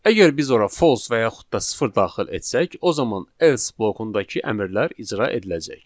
Əgər biz ora false yaxud da sıfır daxil etsək, o zaman else blokundakı əmrlər icra ediləcək.